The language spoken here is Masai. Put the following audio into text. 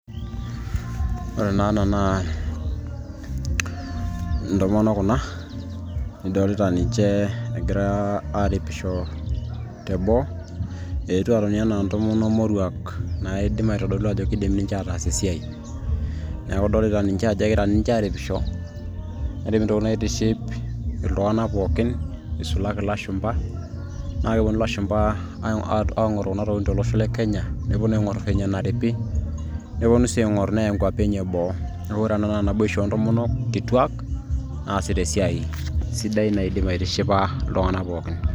ore naa ena naa ntomonok kuna nidolita ninche egira aaripisho teboo eetuo atoni enaa ntomono moruak naidim aitodolu ajo kidim ninche ataas esiai neeku idolita ninche ajo egira ninche aaripisho nerip intokitin naitiship iltung'anak pookin isulaki ilashumba naa keponu ilashumba aing'oru kuna tokitin tolosho le kenya neponu aing'orr venye eneripi neponu sii aing'orr neya inkuapi enye eboo neeku ore ena naa naboisho oontomonok kituak naasita esiai sidai naidip aitishipa iltung'anak pookin.